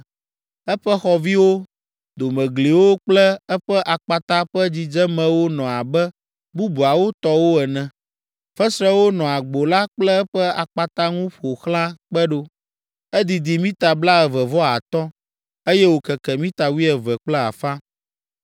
Eƒe xɔviwo, domegliwo kple eƒe akpata ƒe dzidzemewo nɔ abe bubuawo tɔwo ene. Fesrewo nɔ agbo la kple eƒe akpata ŋu ƒo xlã kpe ɖo. Edidi mita blaeve vɔ atɔ̃, eye wòkeke mita wuieve kple afã.